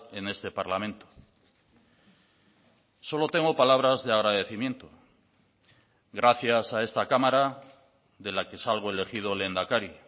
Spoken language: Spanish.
en este parlamento solo tengo palabras de agradecimiento gracias a esta cámara de la que salgo elegido lehendakari